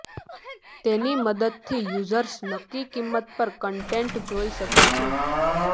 તેની મદદથી યુઝર્સ નક્કી કિંમત પર કન્ટેન્ટ જોઈ શકે છે